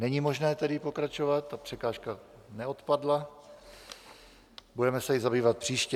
Není možné tedy pokračovat, ta překážka neodpadla, budeme se jí zabývat příště.